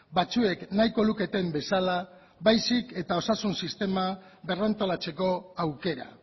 batzuk nahiko luketen bezala baizik eta osasun sistema berrantolatzeko aukera